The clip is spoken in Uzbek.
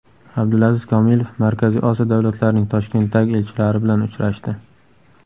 Abdulaziz Komilov Markaziy Osiyo davlatlarining Toshkentdagi elchilari bilan uchrashdi.